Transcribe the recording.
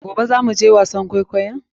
Gobe za mu je wasan kwaikoyon?